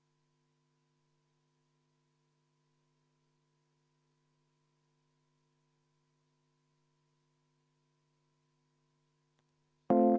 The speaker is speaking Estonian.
Seda võib võtta nii- ja naapidi.